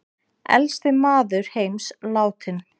Elsti maður heims látinn